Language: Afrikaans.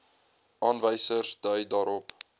aanwysers dui daarop